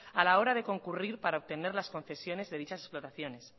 a la hora de concurrir para obtener las concesiones de dichas explotaciones